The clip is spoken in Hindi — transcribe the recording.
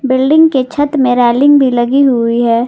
बिल्डिंग के छत में रेलिंग भी लगी हुई है।